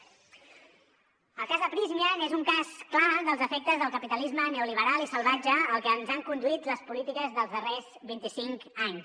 el cas de prysmian és un cas clar dels efectes del capitalisme neoliberal i salvatge al que ens han conduit les polítiques dels darrers vint i cinc anys